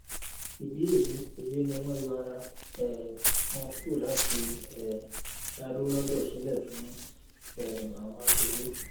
ìdí èyí èyí ni wọn yọ ara um wọn kúrò láti um dá dúró lọtọ sílẹ fún um àwọn aṣojú